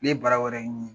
Ne ye bara wɛrɛ ɲini